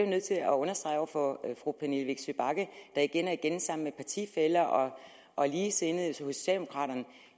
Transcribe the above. nødt til at understrege over for fru pernille vigsø bagge der igen og igen sammen med partifæller og ligesindede hos socialdemokraterne